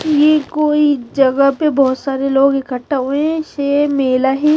ये कोई जगह पे बहोत सारे लोग इकट्ठा हुए हैं इसे मेला ही--